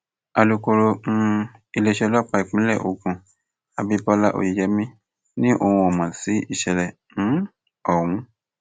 alūkọrọ um iléeṣẹ ọlọpàá ìpínlẹ ogun abibọlá oyeyèmí ni òun ò mọ sí ìṣẹlẹ um ọhún